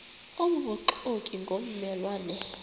obubuxoki ngomme lwane